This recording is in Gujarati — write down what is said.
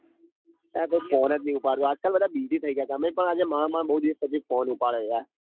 અરે કોઈ phone જ નાઈ ઉપાડતું આજ કલ બધા busy થઇ ગયા તમે પણ આજ માન માન બૌ દિવસ પછી એક phone ઉપાડ્યો ના યાર